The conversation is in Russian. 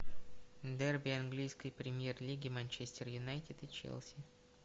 дерби английской премьер лиги манчестер юнайтед и челси